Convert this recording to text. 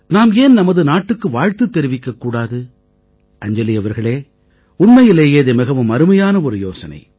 நாம் ஏன் நமது நாட்டுக்கு வாழ்த்து தெரிவிக்க கூடாது அஞ்ஜலி அவர்களே உண்மையிலேயே இது மிகவும் அருமையான ஒரு யோசனை